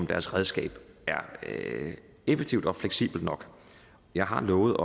deres redskab er effektivt og fleksibelt nok jeg har lovet